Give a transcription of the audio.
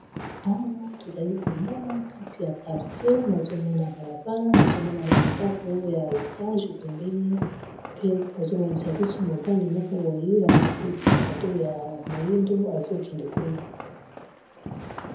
Awa tozali komona kati ya quartier nazomona balabala nazomona ba ndako ya etage pembeni pe bazomonisa biso mobali moko boye alati sakado ya moyindo azokende kuna.